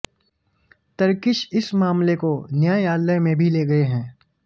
तरकीश इस मामले को न्यायालय में भी ले गए हैं